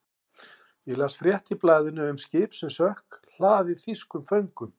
Ég las frétt í blaðinu um skip sem sökk, hlaðið þýskum föngum.